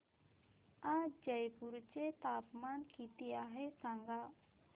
आज जयपूर चे तापमान किती आहे सांगा